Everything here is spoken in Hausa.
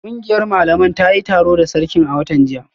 Kungiyar malaman ta yi taro da sarkin a watan jiya